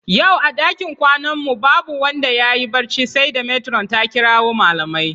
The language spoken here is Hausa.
Yau a ɗakin kwanan mu babu wanda yayi barci sai da metiron ta kirawo malamai